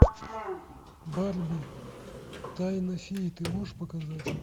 барби тайна феи ты можешь показать